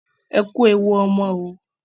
Ẹ kú ewu ọmọ oo.